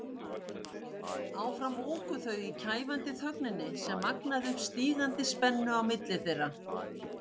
Áfram óku þau í kæfandi þögninni sem magnaði upp stígandi spennu á milli þeirra.